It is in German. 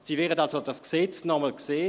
Sie werden dieses Gesetz nochmals sehen;